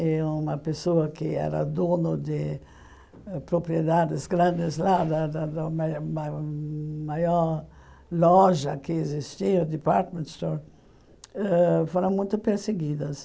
Eh uma pessoa que era dona de propriedades grandes lá, da da da ma ma maior loja que existia, Department Store, ãh foram muito perseguidas.